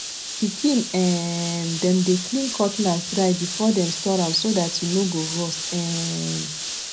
pikin um dem dey clean cutlass dry before dem store am so dat e no go rust um